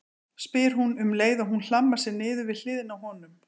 spyr hún um leið og hún hlammar sér niður við hliðina á honum.